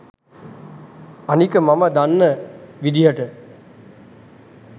අනික මම දන්න විදිහට